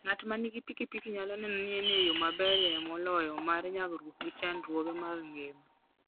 Ng'at ma nigi pikipiki nyalo neno ni en e yo maberie moloyo mar nyagruok gi chandruoge mag ngima.